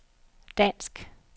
dansk